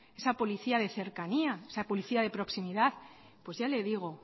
esa policía de cercanía esa policía de proximidad pues ya le digo